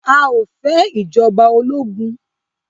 A ò fẹ́ ìjọba ológun.